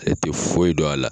E te foyi don a la